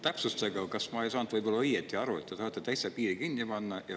Täpsustage, ma ei saanud võib-olla õigesti aru, kas te tahate piiri täitsa kinni panna.